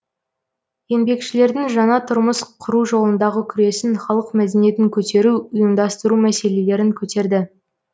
еңбекшілердің жаңа тұрмыс құру жолындағы күресін халық мәдениетін көтеру ұйымдастыру мәселелерін көтерді